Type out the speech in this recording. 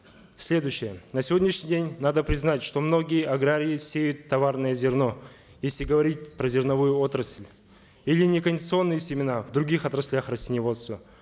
следующее на сегодняшний день надо признать что многие аграрии сеют товарное зерно если говорить про зерновую отрасль или некондиционные семена в других отраслях растениеводства